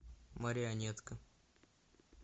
марионетка